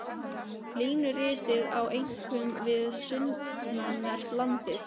Línuritið á einkum við sunnanvert landið.